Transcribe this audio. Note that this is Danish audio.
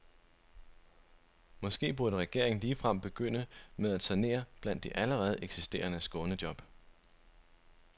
Måske burde regeringen ligefrem begynde med at sanere blandt de allerede eksisterende skånejob.